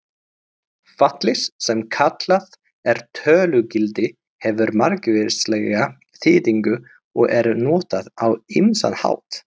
Fallið sem kallað er tölugildi hefur margvíslega þýðingu og er notað á ýmsan hátt.